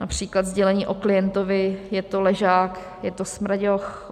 Například sdělení o klientovi: "Je to ležák, je to smraďoch."